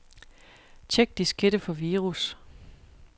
Check diskette for virus.